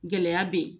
Gɛlɛya be yen